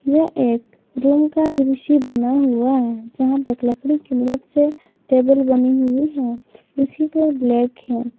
यह एक रूम का दृश्य बना हुआ है जहां पे एक लकड़ी की मदद से टेबल बनी हुई है इसी को ब्लैक है।